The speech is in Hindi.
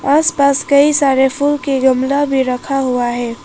आस पास कई सारे फूल के गमला भी रखा हुआ है।